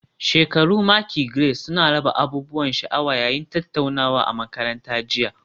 Shekaru maki Grades suna raba abubuwan sha'awa yayin tattaunawa a makaranta jiya